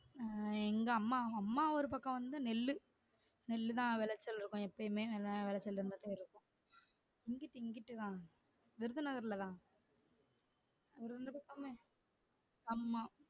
அஹ் எங்க அம்மா அம்மா ஊரு பக்கம் வந்து நெல்லு நெல்லு தான் வெளச்சல் இருக்கு எப்பயுமே எதாவது வெளைச்சல் இருந்துட்டே இருக்கும் இங்குட்டு இங்குட்டுதா விருதுநகர்ல தான் ஆமா